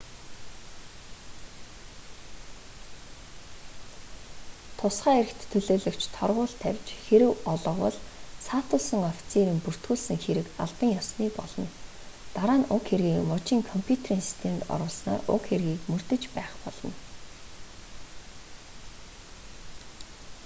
тусгай эрхт төлөөлөгч торгууль тавьж хэрэв олговол саатуулсан офицерын бүртгүүлсэн хэрэг албан ёсны болно дараа нь уг хэргийг мужийн компьютерийн системд оруулснаар уг хэргийг мөрдөж байх болно